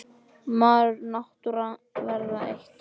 Maður og náttúra verða eitt.